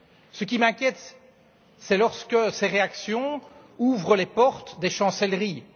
Ce qui m'inquiète, c'est lorsque ces réactions ouvrent les portes des chancelleries.